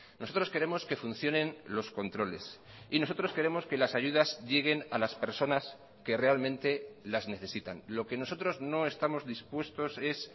nosotros queremos que funcionen los controles y nosotros queremos que las ayudas lleguen a las personas que realmente las necesitan lo que nosotros no estamos dispuestos es